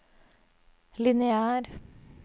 lineær